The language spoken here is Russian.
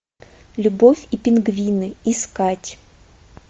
любовь и пингвины искать